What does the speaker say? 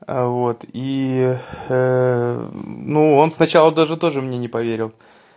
вот и ну он сначала даже тоже мне не поверил